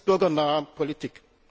Das ist bürgernahe Politik.